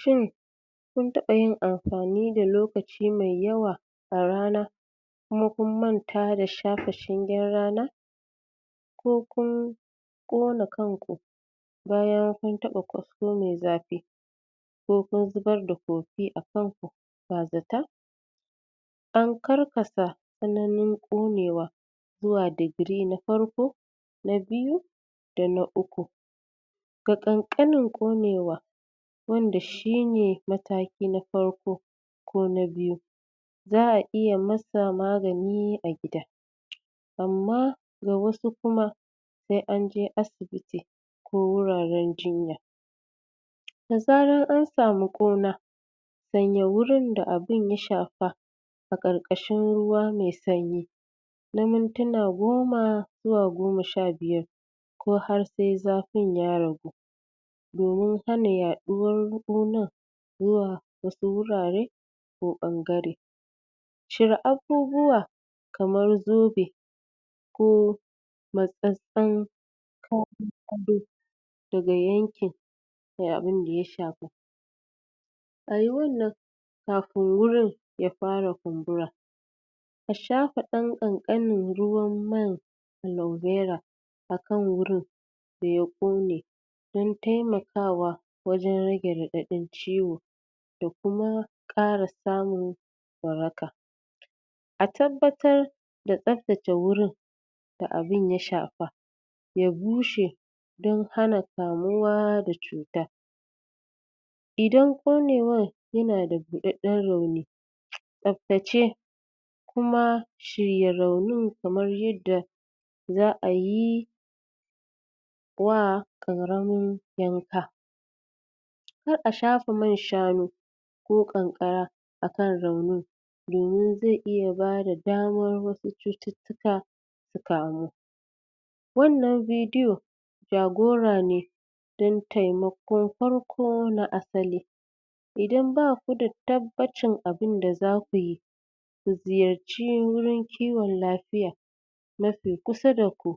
Shin kun taba yin amfani da lokaci mai yawa a rana kuma kun manta shafe shingen rana ko kun kona kanku bayan taba kasko mai zafi ko kun zubar da kofee a kanku ba zata an karkasa tsananin konewa zuwa digiri na farko na biyu da na ukku da kankanin konewa da shine mataki na farko kona biyu za'a iya nasa magani a gida amma ga wasu kuma sai anje asibiti ko wuraren jinya da zaran an samu kuna sanya wurin da abin ya safa a karkashin ruwa mai sanyi na mintina goma zuwa goma sha biyar ko har sai zafin ya ragu domin hana yaduwar kunar zuwa wasu wurare ko ban gare cire abubuwa kamar zobe ko matsatsen? daga yankin da abin ya shafa ayi wannan kafin wurin ya fara kumbura a shafa dan kankanen ruwan man alobera akan wurin daya kone don taimakawa wajen rage radadin ciwon da kuma kara samun waraka a tabbatar da tsabtace wurin da abin ya shafa ya bushe don hana kamuwa da cuta idan konewar yana da budadden rauni tsabtace kuma shirya raunin kamar yadda za'ayi wa karamin yanka sai a shafa man shanu ko kankara akan raunin domin zai iya daba damar wasu cutiktika su kamu wannan bidiyo jagora ne don taimakon farko na asali idan ba kuda tabbacin abinda zakuyi to ziyarci wurin kiwon lafiya mafi kusa da ku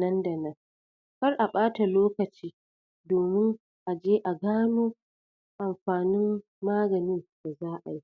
nan da nan kar a bada lokaci domin aje a gano amfanin maganin da za'ai